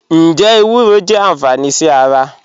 Njẹ ewúrọ jẹ anfání sí ara?